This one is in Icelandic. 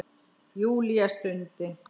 Júlía stundi.